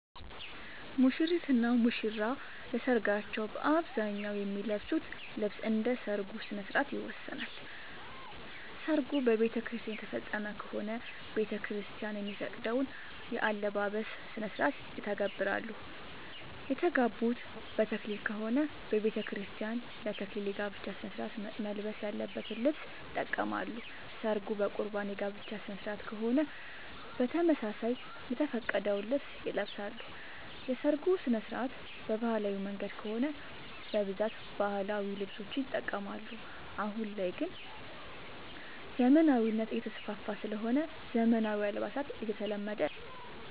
ሙሽሪት እና ሙሽራ ለሰርካቸው በአብዛኛው የሚለብሱት ልብስ እንደ ሠርጉ ስነስርዓት ይወሰናል። ሰርጉ በቤተክርስቲያን የተፈፀመ ከሆነ ቤተክርስቲያን የሚፈቅደውን የአለባበስ ስነስርዓት ይተገብራሉ። የተጋቡት በተክሊል ከሆነ በቤተክርስቲያን ለ ተክሊል የጋብቻ ስነስርዓት መልበስ ያለበትን ልብስ ይጠቀማሉ። ሰርጉ በቁርባን የጋብቻ ስነስርዓት ከሆነም በተመሳሳይ የተፈቀደውን ልብስ ይለብሳሉ። የሰርጉ ስነስርዓት በባህላዊ መንገድ ከሆነ በብዛት ባህላዊ ልብሶችን ይጠቀማሉ። አሁን ላይ ግን ዘመናዊነት እየተስፋፋ ስለሆነ ዘመናዊ አልባሳት እየተለመደ ነው።